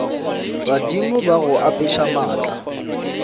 badimo ba go apeša maatla